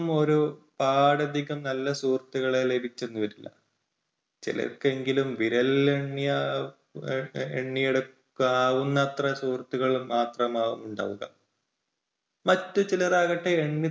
ഒരു~പാടധികം നല്ല സുഹൃത്തുക്കളെ ലഭിച്ചെന്ന് വരില്ല ചിലർക്കെങ്കിലും വിരലിലെണ്ണി~എണ്ണിയെടുക്കാവുന്നത്ര സുഹൃത്തുക്കൾ മാത്രമാവും ഉണ്ടാവുക. മറ്റ് ചിലർ ആകട്ടെ എണ്ണി